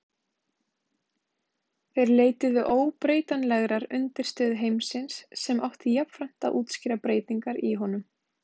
Þeir leituðu óbreytanlegrar undirstöðu heimsins sem átti jafnframt að útskýra breytingar í honum.